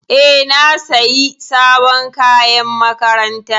E, na sayi sabon kayan makaranta.